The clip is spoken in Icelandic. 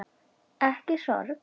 Ekki sorg.